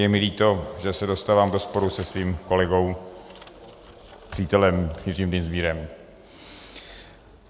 Je mi líto, že se dostávám do sporu se svým kolegou, přítelem, Jiřím Dienstbierem.